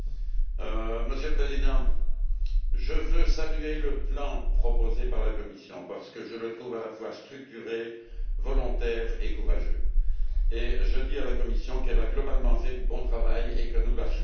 Monsieur le Président, je tiens à saluer le plan proposé par la Commission parce que je le trouve à la fois structuré, volontaire et courageux, et je dis à la Commission qu'elle a globalement fait du bon travail et que nous la soutiendrons.